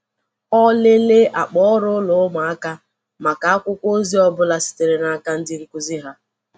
Ọ lelee akpa ọrụ ụlọ ụmụaka maka akwụkwọ ozi ọ bụla sitere n’aka ndị nkuzi ha.